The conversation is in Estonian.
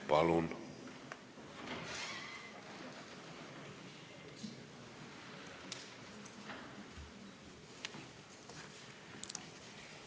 Palun!